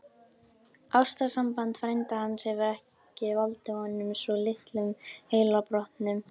Ástarsamband frænda hans hefur ekki valdið honum svo litlum heilabrotum!